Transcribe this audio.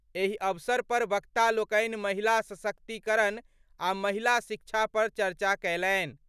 एहि अवसर पर वक्ता लोकनि महिला सशक्तिकरण आ महिला शिक्षा पर चर्चा कयलनि।